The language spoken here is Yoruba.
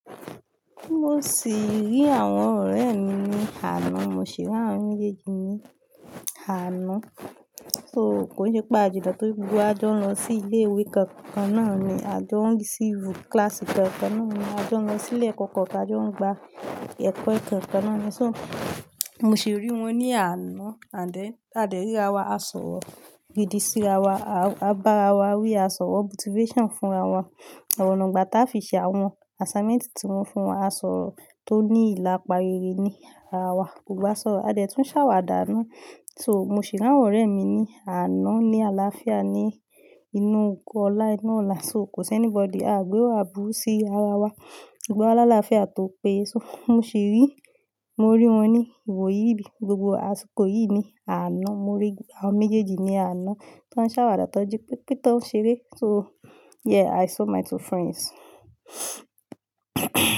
Mo sì rí àwọn ọ̀rẹ́ mi ní àná, mo sì r'àwọn méjèèjì ní àná. So k'o n se pé ajijo pe gbogbo wa jọ ń lọ sí ilé ìwé kankan náà ni, a jọ ń receive class kankan náà ni, a jọ ń lọ sílé ekọ̀ kan, ta jọ ń gba ẹ̀kọ́ kankan náà ni. So mo sì rí wọn ní àná and then a dẹ̀ rí ra wa, a sọ̀rọ̀, we di si ra wa, a bá ara wa wí, a sọ̀rọ̀ motivation fún ra wa, àwọn ọ̀nà ìgbátá fi ṣe àwọn assignment tí wọ́n fún wa, a sọ̀rọ̀ tó ní ìlàpàá rere ní ara wa. Gnogbo wa sọ́rọ̀, a dẹ̀ tún ṣàwàdà náà. So mo sì rí àwọn ọ̀rẹ́ mi ní àná ní àlàáfíà ní inú ogo ọlá inú ọlá. So ko si anybody, aa gbé wa aburù sí ara wa, gbogbo wa làlàáfíà tó péye. So mo sì rí, mo rí wọn ní ìwòyí bí gbogbo àsìkò yìí ni àná. Mo rí àwọn méjèèjì ní àná tó ń ṣàwàdà tọ́ n ji pepé to n ṣeré. So yeah, i saw my two friends.